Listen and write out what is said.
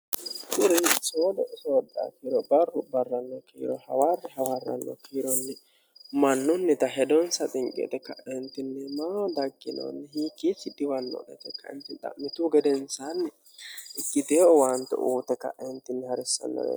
urir soodo usooxaakiro barru barranno kiiro hawaarri hawaarranno tiironni mannunnita hedoonsa xinqexe ka'entinnim dakkinoonni hiikkiisi diwannodhate qanchi xa'mitu gedensaanni igiteeo waanto uute ka'eentinni ha'rissannore